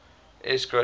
s gross domestic